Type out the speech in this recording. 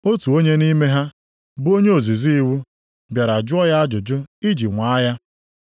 Otu onye nʼime ha, bụ onye ozizi iwu + 22:35 Ndị ozizi iwu bụ ndị ọka nʼiwu, ọ bụ ha na a tapịaa iwu gbasara usoro okpukpe. bịara jụọ ya ajụjụ iji nwaa ya: